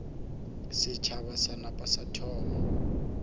setšhaba sa napa sa thoma